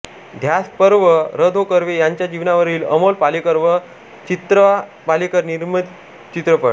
ध्यासपर्व र धों कर्वे यांच्या जीवनावरील अमोल पालेकर व चित्रा पालेकर निर्मित चित्रपट